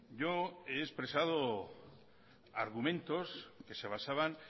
yo he expresado argumentos que se basaban